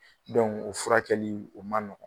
o fura kɛli o man nɔgɔ.